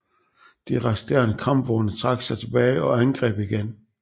De resterende kampvogne trak sig tilbage og angreb igen